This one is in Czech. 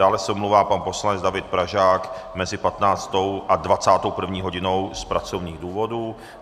Dále se omlouvá pan poslanec David Pražák mezi 15. a 21. hodinou z pracovních důvodů.